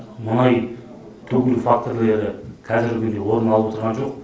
мұнай төгілу фактрлері қазіргі күнде орын алып тұрған жоқ